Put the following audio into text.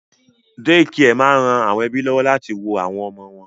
Dékià máa ń ran àwọn ẹ́bí lọ́wọ́ láti wo àwọn ọmọ wọn